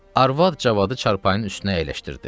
Arvad Cavadı çarpayının üstünə əyləşdirdi.